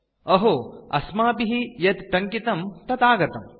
अहो अस्माभिः यत् टङ्कितं तत् आगतम्